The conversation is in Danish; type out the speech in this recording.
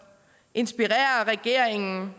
inspirere regeringen